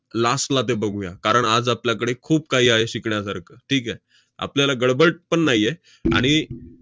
last ला ते बघूया, कारण आज आपल्याकडे खूप काही आहे शिकण्यासारखं. ठीक आहे? आपल्याला गडबड पण नाही आहे. आणि